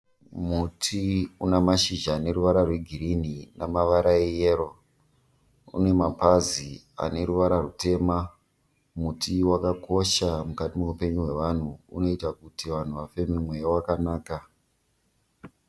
Muti una mashizha ne ruvara rwe green namavara eyero, une mapazi ane ruvara rutema, muti wakakosha mukati meupenyu wevanhu unoita kuti vanhu vafeme mweya wakanaka.